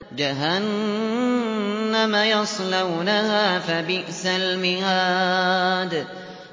جَهَنَّمَ يَصْلَوْنَهَا فَبِئْسَ الْمِهَادُ